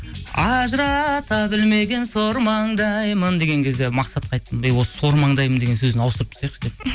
ажырата білмеген сормаңдаймын деген кезде мақсатқа айттым эй осы сормаңдаймын деген сөзін ауыстырып тастайықшы деп